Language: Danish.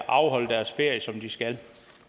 afholde deres ferie som de skal